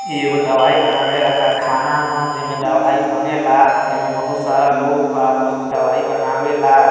ये वो दवाई बनावे का कारखाना ह। जिमें दवाई बनेला। येमें बहुत सारा लोग बा। लोग दवाई बनावे ला।